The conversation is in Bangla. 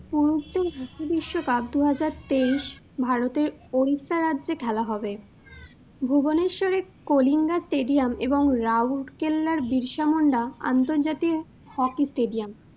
পুরুষদের বিশ্বকাপ দু হাজার তেইশ ভারতের Odisha রাজ্য়ে খেলা হবে। Bhubaneswar রের কলিঙ্গা stadium এবং রৌরকেল্লার বিরসমুণ্ডা আন্তর্জাতিক hockey stadium